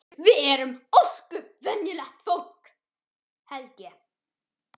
Við erum ósköp venjulegt fólk held ég.